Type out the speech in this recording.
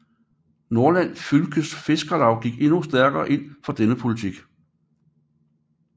Nordland Fylkes Fiskarlag gik endnu stærkere ind for denne politik